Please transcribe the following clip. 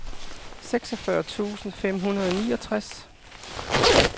seksogfyrre tusind fem hundrede og niogtres